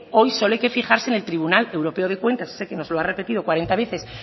hoy solo hay que fijarse en el tribunal europeo de cuentas ese que nos lo ha repetido cuarenta veces